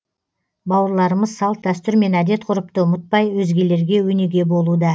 бауырларымыз салт дәстүр мен әдет ғұрыпты ұмытпай өзгелерге өнеге болуда